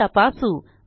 हे तपासू